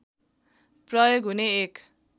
प्रयोग हुने एक